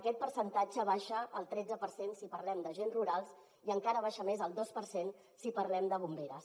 aquest percentatge baixa al tretze per cent si parlem d’agents rurals i encara baixa més al dos per cent si parlem de bomberes